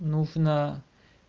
нужно